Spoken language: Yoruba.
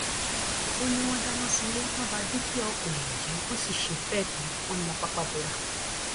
ó ní wọn dáná sunlé wọn bá dúkìá ọpọ èèyàn jẹ wọn sì ṣe bẹẹ tán wọn na pápá bora